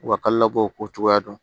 Wa kalo labɔ ko cogoya dɔn